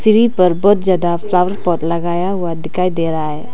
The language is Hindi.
सीढ़ी पर बहुत ज्यादा फ्लावर पॉट लगाया हुआ दिखाई दे रहा है।